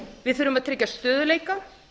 við þurfum að tryggja stöðugleika